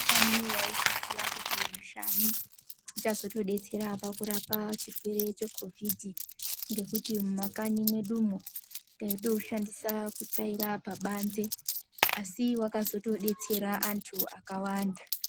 Ndiyani waizviziya kuti mushani uchazotodetsera kurapa chirwere chekhovhidhi, ngekuti mumakanyi mwedumwwo taitoushandisa kutsvaira pabanze asi wakazotodetsera anhu akawanda.